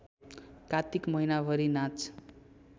कात्तिक महिनाभरि नाच